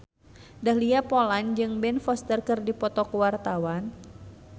Dahlia Poland jeung Ben Foster keur dipoto ku wartawan